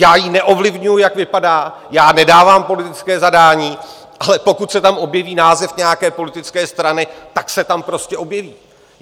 Já ji neovlivňuji, jak vypadá, já nedávám politické zadání, ale pokud se tam objeví název nějaké politické strany, tak se tam prostě objeví.